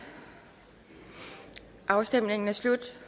afstemningen er slut